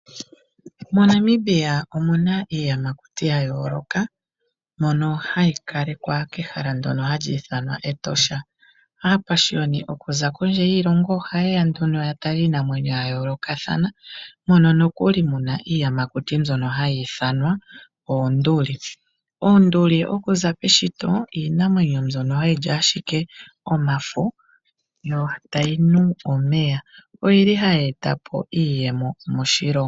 MoNamibia omu na iiyamakuti ya yooloka mono hayi kalekwa kehala ndyono hali ithanwa Etosha. Aapashiyoni okuza kondje yiilongo ohaye ya nduno ya tale iinamwenyo ya yoolokathana mono mu na nokuli iiyamakuti mbyono hayi ithanwa oonduli. Oonduli okuza peshito iinamwenyo mbyono hayi li ashike omafo yo tayi nu omeya. Oyi li hayi eta po iiyemo moshilongo.